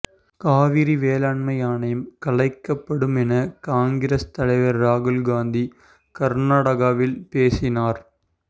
காவிரி மேலாண்மை ஆணையம் கலைக்கப்படும் என காங்கிரஸ் தலைவர் ராகுல்காந்தி கர்நாடகாவில் பேசினார்